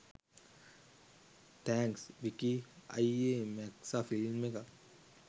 thanks Vicky අය්යේ මැක්සා film එකක්